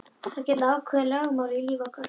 Það gilda ákveðin lögmál í lífi okkar.